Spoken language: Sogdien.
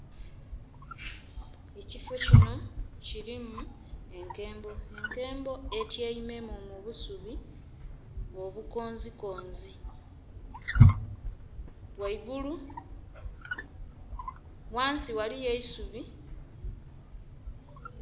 Ekifi kino kilimu enkembo. Enkembo etyaimemu mu busubi obukonzikonzi. Ghaigulu...ghansi ghaliyo eisubi...